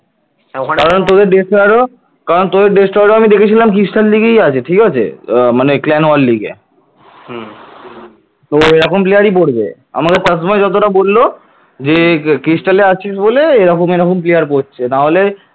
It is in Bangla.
তো এরকম player পড়বে আমাকে শাসমল যতটা বলল যে cristal আছিস বলে এরকম এরকম player পড়ছে না হলে